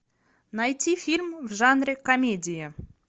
найти фильм в жанре комедия